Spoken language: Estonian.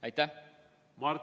Aitäh!